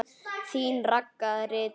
Þín Ragga ritari.